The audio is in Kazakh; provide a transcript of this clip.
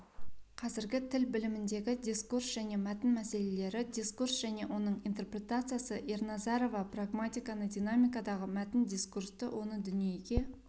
қазіргі тіл біліміндегі дискурс және мәтін мәселелері дискурс және оның интерпретациясы ерназарова прагматиканы динамикадағы мәтін дискурсты оны дүниеге